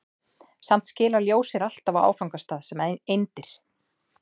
Samt skilar ljós sér alltaf á áfangastað sem eindir.